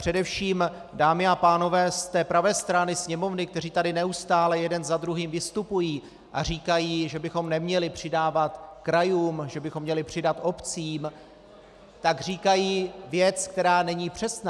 Především, dámy a pánové z té pravé strany Sněmovny, kteří tady neustále jeden za druhým vystupují a říkají, že bychom neměli přidávat krajům, že bychom měli přidat obcím, tak říkají věc, která není přesná.